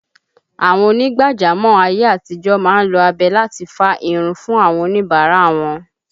Àwọn ònígbàjámọ̀ ayé àtijọ́ má ń lo abẹ láti fá irun fún àwọn oníbàárà wọn